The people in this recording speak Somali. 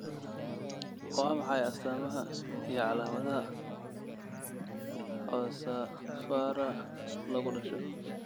Waa maxay astaamaha iyo calaamadaha Coxa vara, lagu dhasho?